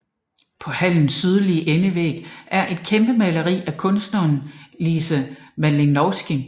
På hallens sydlige endevæg er et kæmpemaleri af kunstneren Lise Malinowsky